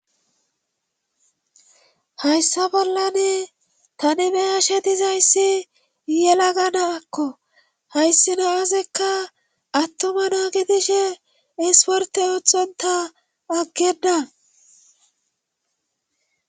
Hayssa bollane tanemeyashe dizayssi yela ganakko hayssi naazekka attoma naagidishe isporte oothonta aggeda